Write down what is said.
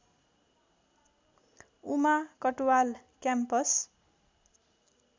Uma Katwal campus